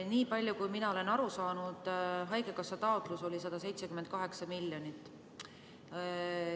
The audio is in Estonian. Nii palju kui mina olen aru saanud, oli haigekassa taotlus 178 miljonit.